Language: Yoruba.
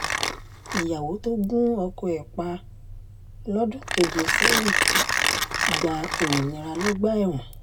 ìyàwó tó gun ọkọ ẹ̀ pa lọ́dún keje sẹ́yìn gba òmìnira lọ́gbà ẹ̀wọ̀n